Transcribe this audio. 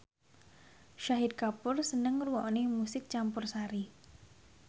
Shahid Kapoor seneng ngrungokne musik campursari